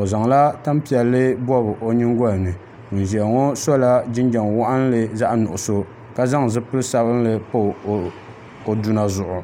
o zaŋla tanpiɛlli bobi o nyingoli ni ŋun ʒiya ŋo sola jinjɛm waɣanli zaɣ nuɣso ka zaŋ zipili sabinli pa o duna zuɣu